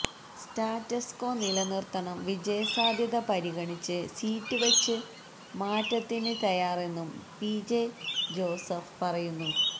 status quo നിലനിര്ത്തണം വിജയസാധ്യത പരിഗണിച്ച് സീറ്റ് വച്ച് മാറ്റത്തിന് തയ്യാറെന്നും പിജെ ജോസഫ് പറയുന്നു